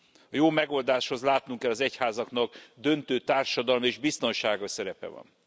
A jó megoldáshoz látnunk kell, az egyházaknak döntő társadalmi és biztonsági szerepe van.